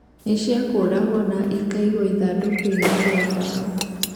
Nĩ ciakũragwo na ikaigwo ithandũkũ-inĩ rĩa mbaũ.